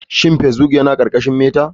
Shin facebbok yana ƙarƙashin meta?